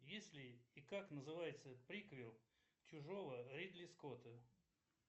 если и как называется приквел чужого ридли скотта